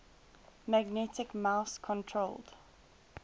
magnetic mouse controlled